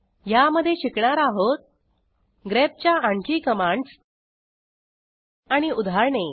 ह्यामधे शिकणार आहोत grepच्या आणखी कमांडस आणि उदाहरणे